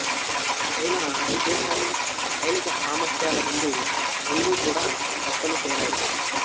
China ఉద్దేశాలు సైనిక సామర్ధ్యాల ముందు రెండూ కూడా తప్పని తేలాయి